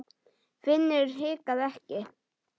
Finnur hikaði ekki.